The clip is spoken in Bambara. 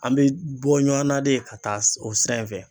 An be bɔ ɲɔa na de ka taa o sira in fɛ